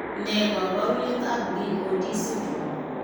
Ne kaabarunetap BOD syndrome?